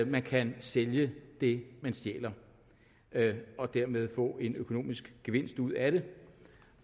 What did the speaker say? man kan sælge det man stjæler og dermed få en økonomisk gevinst ud af det